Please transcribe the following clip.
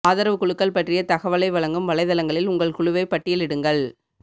ஆதரவு குழுக்கள் பற்றிய தகவலை வழங்கும் வலைத்தளங்களில் உங்கள் குழுவை பட்டியலிடுங்கள்